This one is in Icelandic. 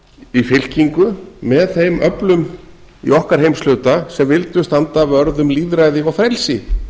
í fylkingu með þeim öflum í okkar heimshluta sem vildu standa vörð um lýðræði og frelsi